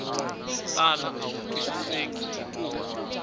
tala a wu twisiseki hikuva